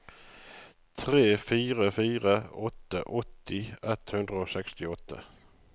tre fire fire åtte åtti ett hundre og sekstiåtte